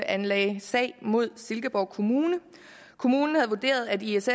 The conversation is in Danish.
anlagde sag mod silkeborg kommune kommunen havde vurderet at iss